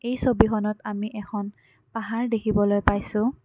এই ছবিখনত আমি এখন পাহাৰ দেখিবলৈ পাইছোঁ।